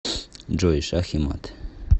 джой шах и мат